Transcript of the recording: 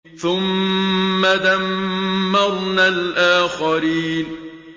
ثُمَّ دَمَّرْنَا الْآخَرِينَ